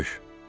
Görüş.